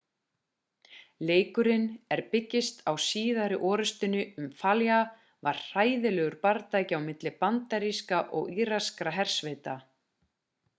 leikurinn er byggist á síðari orrustunni um fallujah sem var hræðilegur bardagi á milli bandarískra og íraskra hersveita